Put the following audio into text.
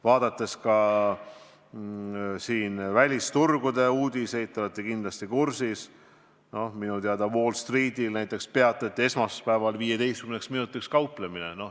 Vaadates välisturgude uudiseid, siis te olete kindlasti kursis sellega, et esmaspäeval peatati näiteks Wall Streetil 15 minutiks kauplemine.